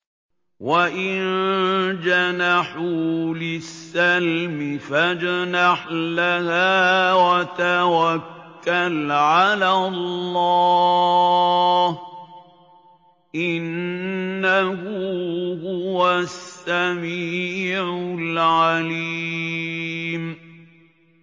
۞ وَإِن جَنَحُوا لِلسَّلْمِ فَاجْنَحْ لَهَا وَتَوَكَّلْ عَلَى اللَّهِ ۚ إِنَّهُ هُوَ السَّمِيعُ الْعَلِيمُ